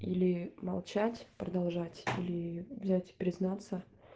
или молчать продолжать или блять признаться